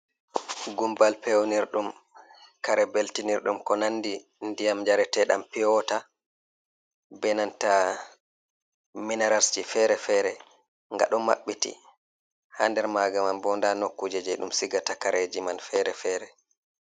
Gumbal pewnirdum kare beltinirɗum ko nandi ndiyam njarete nɗam piyo-wata be nanta mineralsji fere-fere. Nga ɗo maɓɓiti ha nder maga man bo nda nokkuje je ɗum sigata kareji man fere-fere.